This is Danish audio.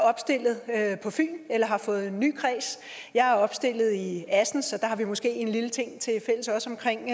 opstillet på fyn eller har fået en ny kreds jeg er opstillet i assens så der har vi måske også en lille ting tilfælles omkring